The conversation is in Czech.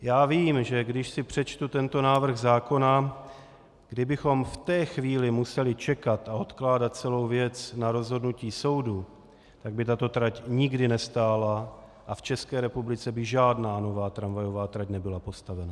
Já vím, že když si přečtu tento návrh zákona, kdybychom v té chvíli museli čekat a odkládat celou věc na rozhodnutí soudu, tak by tato trať nikdy nestála a v České republice by žádná nová tramvajová trať nebyla postavena.